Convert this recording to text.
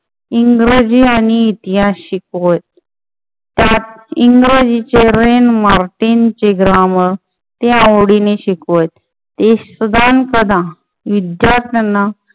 इंग्रजी आणि इतिहास शिकवत. त्यात इंग्रजीचे रेन मार्टिन चे इंग्रजी ग्रामर ते आवडीने शिकवत. ते सदानकदा विद्यार्थ्यांना